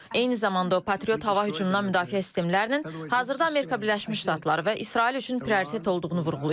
Eyni zamanda o, patriot hava hücumundan müdafiə sistemlərinin hazırda Amerika Birləşmiş Ştatları və İsrail üçün prioritet olduğunu vurğulayıb.